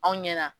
Aw ɲɛna